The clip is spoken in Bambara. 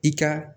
I ka